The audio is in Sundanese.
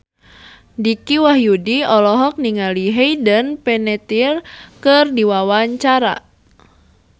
Dicky Wahyudi olohok ningali Hayden Panettiere keur diwawancara